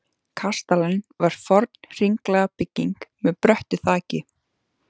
Kastalinn var forn hringlaga bygging með bröttu þaki.